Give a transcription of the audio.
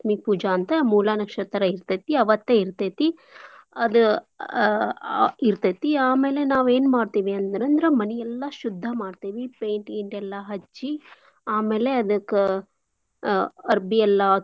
ಪೂಜಾ ಅಂತ್ ಮೂಲಾ ನಕ್ಷತ್ರ ಇರ್ತೇತಿ ಅವತ್ತೇ ಇರ್ತೇತಿ. ಅದು ಅಹ್ ಇರ್ತೇತಿ ಆಮೇಲೆ ನಾವ್ ಏನ್ ಮಾಡ್ತೀವಿ ಅಂದ್ರಂದ್ರ ಮನಿ ಎಲ್ಲಾ ಶುದ್ದಾ ಮಾಡ್ತೇವಿ paint ಗೀನ್ಟ್ ಎಲ್ಲಾ ಹಚ್ಚಿ ಆಮೇಲೆ ಅದ್ಕ ಅರ್ಬಿ ಎಲ್ಲಾ.